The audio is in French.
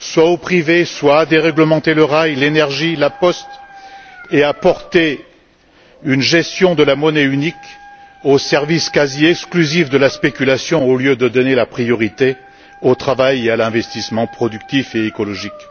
au privé, à déréglementer le rail, l'énergie et la poste, et à porter une gestion de la monnaie unique au service quasi exclusif de la spéculation au lieu de donner la priorité au travail et à l'investissement productif et écologique.